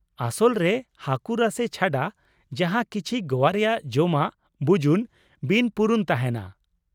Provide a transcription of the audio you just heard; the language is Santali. ᱟᱥᱚᱞ ᱨᱮ ᱦᱟᱹᱠᱩ ᱨᱟᱥᱮ ᱪᱷᱟᱰᱟ ᱡᱟᱦᱟᱸ ᱠᱤᱪᱷᱤ ᱜᱚᱣᱟ ᱨᱮᱭᱟᱜ ᱡᱚᱢᱟᱜ ᱵᱩᱡᱩᱱ ᱵᱤᱱᱯᱩᱨᱩᱱ ᱛᱟᱦᱮᱱᱟ ᱾